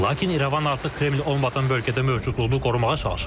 Lakin İrəvan artıq Kreml olmayan bölgədə mövcudluğunu qorumağa çalışır.